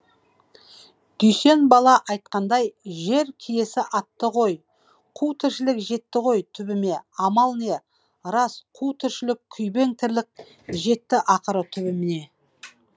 дүйсен бала айтқандай жер киесі атты ғой қу тіршілік жетті ғой түбіме амал не рас қу тіршілік күйбең тірлік жетті ақыры түбіне